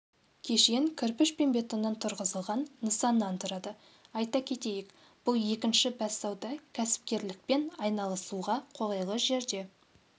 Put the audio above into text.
кешен кірпіш пен бетоннан тұрғызылған нысаннан тұрады айта кетейік бұл екінші бәссауда кәсіпкерлікпен айналысуға қолайлы жерде